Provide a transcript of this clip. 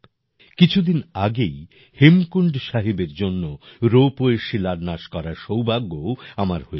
কিছুদিন আগেই হেমকুন্ড সাহিবের জন্য রোপওয়ের শিলান্যাস করার সৌভাগ্যও আমার হয়েছে